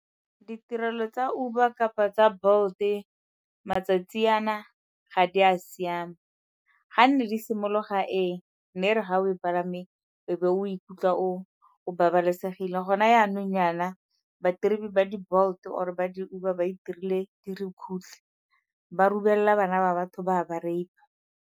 Ditirelo tsa Uber kapa tsa Bolt-e matsatsi ana ga di a siama, ga nne di simologa ee, nne e re ga o e palame o be o ikutlwa o babalesegile gone yanong yana ba ba di-Bolt-e or-e ba di-Uber ba itirile dirukutlhi, ba bana ba batho ba a ba rape-a.